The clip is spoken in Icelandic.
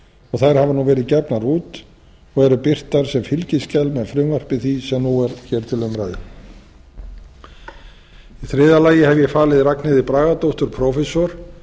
og þær hafa nú verið gefnar út og eru birtar sem fylgiskjal með frumvarpi því sem nú er hér til umræðu í þriðja lagi hef ég falið ragnheiði bragadóttur prófessor